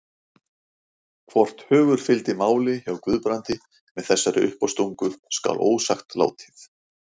Hvort hugur fylgdi máli hjá Guðbrandi með þessari uppástungu skal ósagt látið.